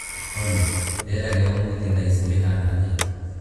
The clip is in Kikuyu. olly rĩera rĩa ũmũthĩ thaa ici rĩhana atĩa